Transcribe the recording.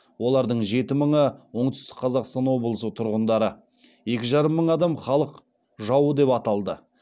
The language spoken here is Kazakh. олардың жеті мыңы оңтүстік қазақстан облысының тұрғындары екі жарым мың адам халық жауы деп атылды